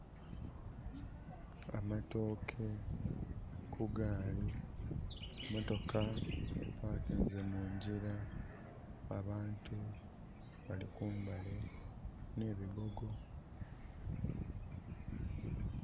Amatooke ku gaali. Motoka epakinze mungyira. Abantu bali kumbali nh'ebigogo.